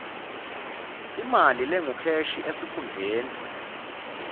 imali lengukheshi esikhungweni